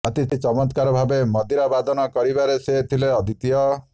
ଅତି ଚମତ୍କାର ଭାବେ ମନ୍ଦିରା ବାଦନ କରିବାରେ ସେ ଥିଲେ ଅଦ୍ୱିତୀୟ